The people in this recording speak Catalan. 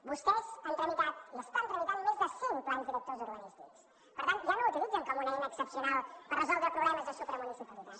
vostès han tramitat i estan tramitant més de cent plans directors urbanístics per tant ja no l’utilitzen com una eina excepcional per resoldre problemes de supramunicipalitat